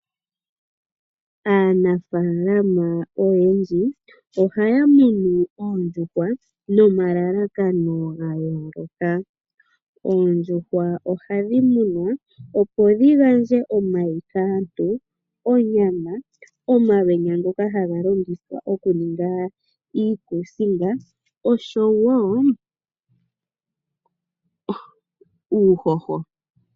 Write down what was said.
Aanafalama oyendji ohaya munu oondjuhwa nomalalakano ga yooloka. Oondjuhwa ohadhi munwa opo dhi gandje omayi kaantu, onyama, omalwenya ngoka haga longithwa okuninga iikusinga oshowo uuhoho.